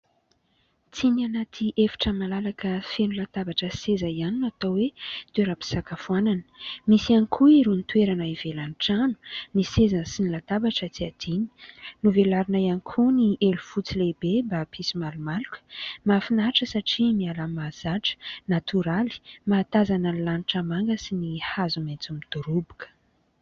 Tsy ny anaty efitra malalaka feno latabatra sy seza ihany natao hoe toeram-pisakafoanana. Misy ihany koa irony toerana ivelan'ny trano, ny seza sy ny latabatra tsy adino, novelarina ihany koa ny elo fotsy lehibe mba hampisy malomaloka. Mahafinaritra satria miala mahazatra, natoraly, mahatazana ny lanitra manga sy ny hazo maitso midoroboka.